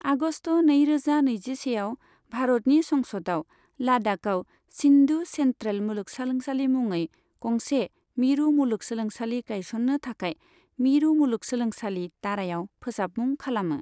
आगस्त नैरोजा नैजिसेआव, भारतनि संसदआ लाद्दाखआव सिन्धु सेन्ट्रेल मुलुगसोलोंसालि मुङै गंसे मिरु मुलुगसोलोंसालि गायसननो थाखाय मिरु मुलुगसोलोंसालि दारायाव फोसाबमुं खालामो।